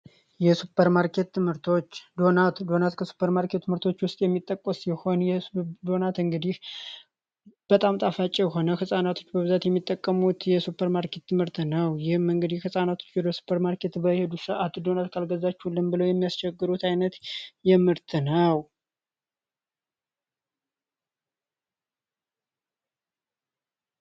የሱፐር ማርኬት ምርቶች ዶናት ከሱፐር ማርኬት ምርቶች ውስጥ የሚጠቀስ ሲሆን ዶናት እንግዲህ በጣም ጣፋጪ የሆነ ሕፃናቶች በብዛት የሚጠቀሙት የሱፐርማርኬት ምርት ነው። ይህም እንግዲህ ሕፃናቶች ወደሱፐርማርኬት በሚሄዱበት ሰአት ዶናት ካልገዛችሁልን ብለው የሚያስቸግሩት ዓይነት ምርት ነው።